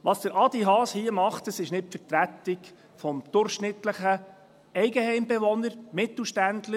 Was Adrian Haas hier macht, ist nicht die Vertretung des durchschnittlichen Eigenheimbewohners, Mittelständlers.